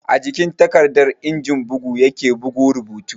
A jikin takarda injin bugu ya ke bugo rubutu